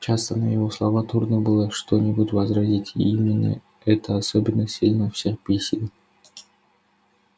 часто на его слова трудно было что-нибудь возразить и именно это особенно сильно всех бесило